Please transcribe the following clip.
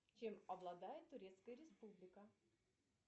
чем обладает турецкая республика